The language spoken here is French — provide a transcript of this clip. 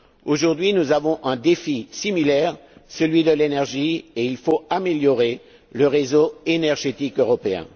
Aujourd'hui, nous sommes confrontés à un défi similaire, celui de l'énergie, et il faut améliorer le réseau énergétique européen.